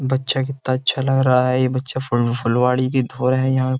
बच्चा कितना अच्छा लग रहा है ये बच्चा फुल फुलवाड़ी की धोर है यहाँ।